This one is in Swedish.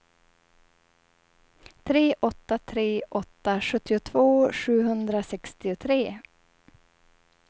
tre åtta tre åtta sjuttiotvå sjuhundrasextiotre